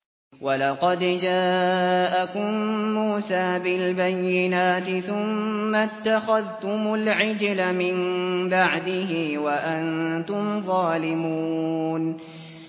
۞ وَلَقَدْ جَاءَكُم مُّوسَىٰ بِالْبَيِّنَاتِ ثُمَّ اتَّخَذْتُمُ الْعِجْلَ مِن بَعْدِهِ وَأَنتُمْ ظَالِمُونَ